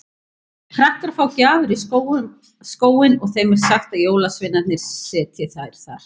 Krakkar fá gjafir í skóinn og þeim er sagt að jólasveinarnir setji þær þar.